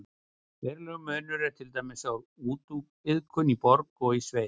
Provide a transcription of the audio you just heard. Verulegur munur er til dæmis á vúdúiðkun í borg og í sveit.